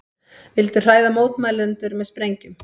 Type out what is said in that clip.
Vildu hræða mótmælendur með sprengjum